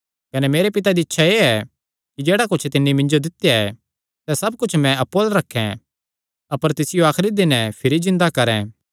कने मेरे पिता दी इच्छा एह़ ऐ कि जेह्ड़ा कुच्छ तिन्नी मिन्जो दित्या ऐ सैह़ सब कुच्छ मैं अप्पु अल्ल रखैं अपर तिसियो आखरी दिनैं भिरी जिन्दा करैं